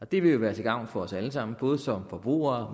det vil jo være til gavn for os alle sammen både for forbrugere